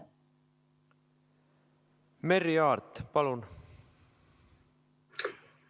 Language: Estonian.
Merry Aart, palun!